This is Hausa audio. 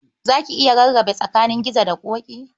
Za ki iya rarrabe tsakanin Gizo da Ƙoƙi?